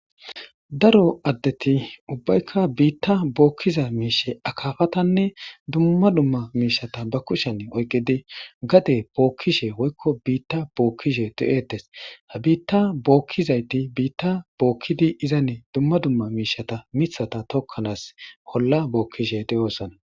daro addeti ubbaykka biitta bookkiza miishe akaafatanne dumma dumma miishata ba kushene oyqqidi gade bookkishe woykko biitta bookkishe do7etes ha biitta bookkizayti biitta bookkidi izanne dumma dumma miishata mithata tokkanaas holla bookkishe de7oossana